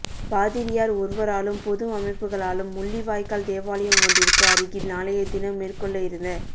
பாதிரியார் ஒருவராலும் பொது அமைப்புகளாலும் முள்ளிவாய்க்கள் தேவாலயம் ஒன்றிற்கு அருகில் நாளையதினம் மேற்கொள்ள இருந்த